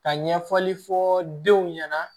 Ka ɲɛfɔli fɔ denw ɲɛna